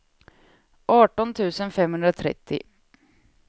arton tusen femhundratrettio